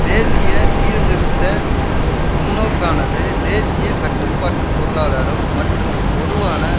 தேசிய சீர்திருத்த முன்னோக்கானது தேசிய கட்டுப்பாட்டு பொருளாதாரம் மற்றும் பொதுவான